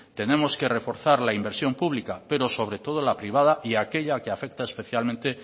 tenemos que reforzar la inversión pública pero sobre todo la privada y aquella que afecta especialmente